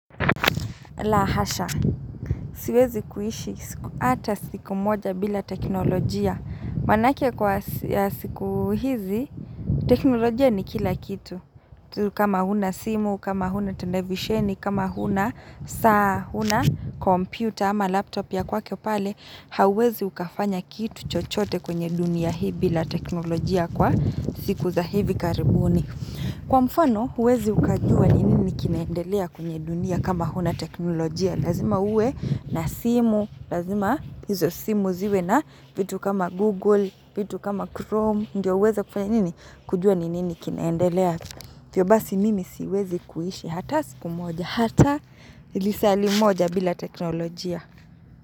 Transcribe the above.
La hasha, siwezi kuishi, hata siku moja bila teknolojia maana ake kwa siku hizi, teknolojia ni kila kitu kama huna simu, kama huna televisheni, kama huna saa, huna kompyuta ama laptop ya kwako pale hauwezi ukafanya kitu chochote kwenye dunia hii bila teknolojia kwa siku za hivi karibuni Kwa mfano, huwezi ukajua ni nini kinaendelea kunye dunia kama huna teknolojia. Lazima uwe na simu, lazima hizo simu ziwe na vitu kama Google, vitu kama Chrome. Ndiyo uweze kufanya nini kujua ni nini kinaendelea. Hivyo basi mimi siwezi kuishi hata siku moja, hata lisali moja bila teknolojia.